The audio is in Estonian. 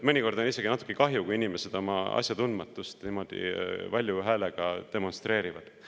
Mõnikord on isegi natuke kahju, kui inimesed oma asjatundmatust niimoodi valju häälega demonstreerivad.